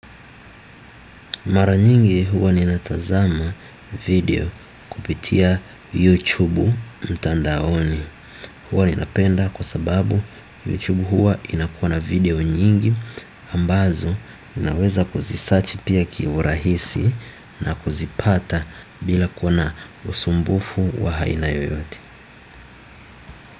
Mara nyingi huwa ninatazama video kupitia YouTube mtandaoni. Huwa ninapenda kwa sababu YouTube huwa inakuwa na video nyingi ambazo naweza kuzisearch pia kiurahisi na kuzipata bila kuwa na usumbufu wa aina yoyote.